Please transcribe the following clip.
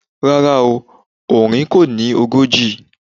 Rárá o, ọ̀rin kọ́ ni ogójì